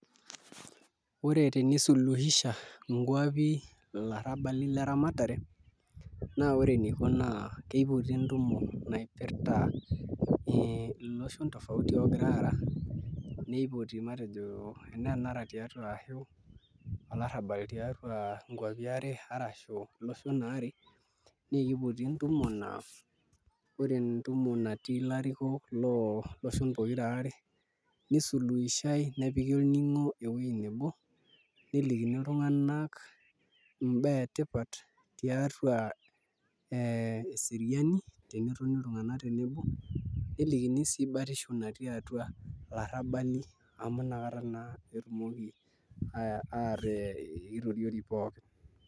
Ore tenisuluhisha nkuapi ilarrabali le rematare naa ore eniko naa kipoti entumo naipirta iloshon tofauti oogira aara nipoti matejo enaa enara tiatua ashu olarrabal tiatua nkuapi are arashu iloshon aare naa kipoti entumo naa, ore entumo natii ilarikok, loo loshon pokira aare nisuluhishai nepiki olning'o ewuei nebo nelikini iltung'anak imbaa etipat tiatua ee eseriani pee etoni iltung'anak tenebo nelikini sii batisho natii atua ilarrabali amu nakata naa etumoki aata itoriori pookin.